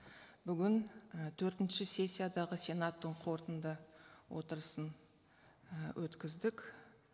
бүгін і төртінші сессиядағы сенаттың қорытынды отырысын і өткіздік